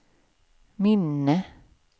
minne